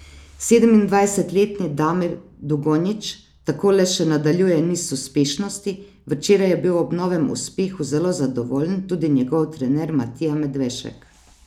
Sedemindvajsetletni Damir Dugonjić tako le še nadaljuje niz uspešnosti, včeraj je bil ob novem uspehu zelo zadovoljen tudi njegov trener Matija Medvešek.